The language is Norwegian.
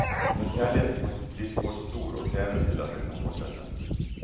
Når kjærligheten faktisk blir for stor og krevende til at den kan fortsette.